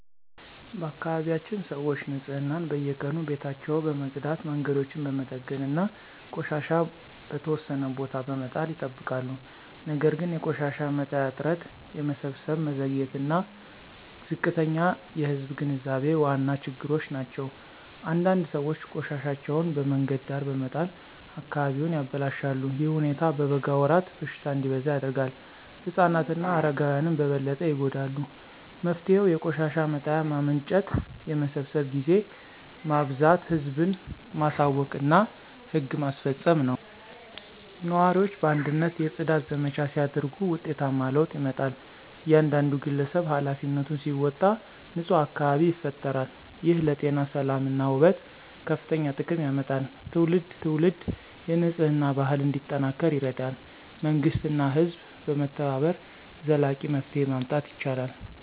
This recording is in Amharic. በአካባቢያችን ሰዎች ንፅህናን በየቀኑ ቤታቸውን በመጽዳት መንገዶችን በመጠገን እና ቆሻሻ በተወሰነ ቦታ በመጣል ይጠብቃሉ። ነገር ግን የቆሻሻ መጣያ እጥረት የመሰብሰብ መዘግየት እና ዝቅተኛ የህዝብ ግንዛቤ ዋና ችግሮች ናቸው። አንዳንድ ሰዎች ቆሻሻቸውን በመንገድ ዳር በመጣል አካባቢውን ያበላሻሉ። ይህ ሁኔታ በበጋ ወራት በሽታ እንዲበዛ ያደርጋል ህፃናት እና አረጋውያን በበለጠ ይጎዳሉ። መፍትሄው የቆሻሻ መጣያ ማመንጨት የመሰብሰብ ጊዜ ማበዛት ህዝብን ማሳወቅ እና ህግ ማስፈጸም ነው። ነዋሪዎች በአንድነት የጽዳት ዘመቻ ሲያደርጉ ውጤታማ ለውጥ ይመጣል። እያንዳንዱ ግለሰብ ኃላፊነቱን ሲወጣ ንፁህ አካባቢ ይፈጠራል። ይህ ለጤና ሰላም እና ውበት ከፍተኛ ጥቅም ያመጣል ትውልድ ትውልድ የንፅህና ባህል እንዲጠናከር ይረዳል። መንግሥት እና ህዝብ በመተባበር ዘላቂ መፍትሄ ማምጣት ይችላሉ።